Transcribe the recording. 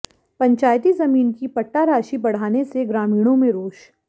पंचायती जमीन की पट्टा राशि बढ़ाने से ग्रामीणों में रोष